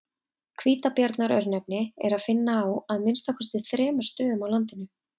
Hvítabjarnar-örnefni er að finna á að minnsta kosti þremur stöðum á landinu.